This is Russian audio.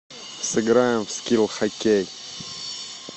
сыграем в скилл хоккей